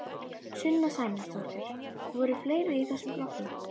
Sunna Sæmundsdóttir: Voru fleiri í þessum flokki?